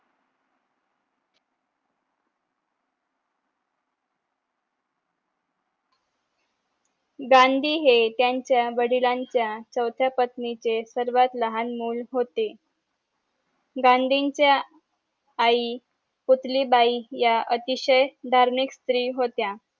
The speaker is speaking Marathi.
गांधी हे त्यांच्या वडिलांच्या चवथ्या पत्नीचे सर्वात लहान मूल होते गांधींच्या आई पुतलीबाई ह्या अतिशय धार्मिक स्त्री होत्या